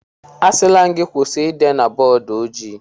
Asịla m gị kwụsị ide na bọọdụ ojii!